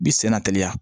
Bi senna teliya